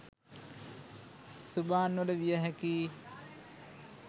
සුබාන් වල විය හැකියි